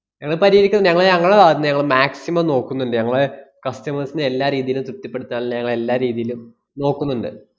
ഞങ്ങള് പരിഹരിക്കും. ഞങ്ങള് ഞങ്ങളെ ആഹ് ഞങ്ങള് maximum നോക്കുന്നുണ്ട്. ഞങ്ങളെ customers നെ എല്ലാ രീതീലും തൃപ്തിപ്പെടുത്താനുള്ള ഞങ്ങള് എല്ലാ രീതിയിലും നോക്കുന്നുണ്ട്.